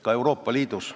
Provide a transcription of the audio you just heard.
Ka Euroopa Liidus.